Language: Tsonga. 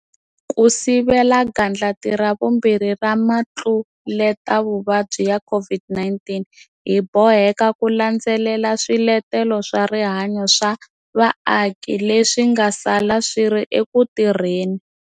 Ku sivela gandlati ra vumbirhi ra mitluletavuvabyi ya COVID-19, hi boheka ku landzelela swiletelo swa rihanyu swa vaaki leswi nga sala swi ri eku tirheni.